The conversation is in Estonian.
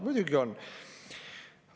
Muidugi on!